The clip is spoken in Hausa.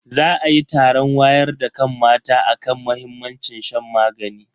Za ayi taron wayar da kan mata akan muhimmancin shan magani.